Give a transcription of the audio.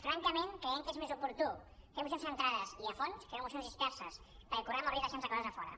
francament creiem que és més oportú fer mocions centrades i a fons que no mocions disperses perquè correm el risc de deixar nos coses a fora